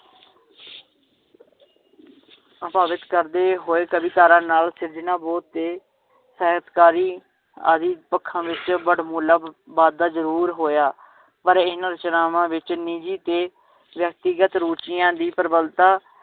ਪ੍ਰਭਾਵਿਤ ਕਰਦੇ ਹੋਏ ਕਵੀ ਧਾਰਨ ਨਾਲ ਬੋਧ ਤੇ ਹੈਤਕਾਰੀ ਆਦਿ ਪੱਖਾਂ ਵਿਚ ਬੜਬੋਲਾ ਬਾਦਾ ਜਰੂਰ ਹੋਇਆ ਪਰ ਇਹਨਾਂ ਰਚਨਾਵਾਂ ਵਿਚ ਨਿਜੀ ਤੇ ਵ੍ਯਕਤਿਗਤ ਰੁਚੀਆਂ ਦੀ ਪ੍ਰਬਲਤਾ